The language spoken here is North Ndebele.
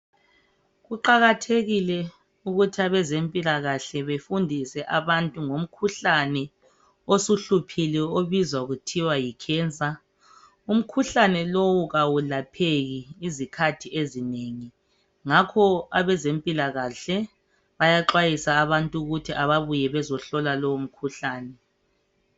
Kuqakathekile ukuthi abezempilakahle bafundise abantu ngomkhuhlane osuhluphile obizwa kuthiwa yi cancer. Umkhuhlane lowu kawulapheki izikhathi ezinengi ngakho bayaxwayisa abantu ukuthi ababuye bazohlola lowo mkhuhlane.